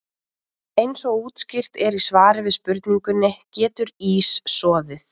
Eins og útskýrt er í svari við spurningunni Getur ís soðið?